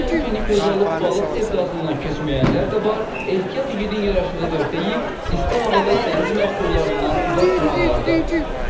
Bu təhlükəni gözə alıb balıq sevdasından keçməyənlər də var, ehtiyat igidin yaraşığıdır deyib isti havada dəniz məhsullarından uzaq duranlar da.